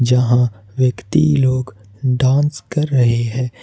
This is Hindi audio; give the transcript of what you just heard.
यहां व्यक्ति लोग डांस कर रहे है।